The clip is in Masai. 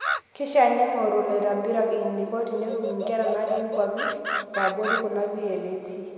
Keishaa neing'orru ilaitobirak eneiko tenetum nkera naati nkwapi eabori kuna VLEs.